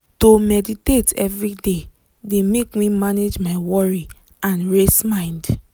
to meditate every dey de make me manage my worry and race mind.